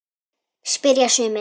spyrja sumir.